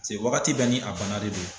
Paseke wagati bɛɛ ni a bana de do.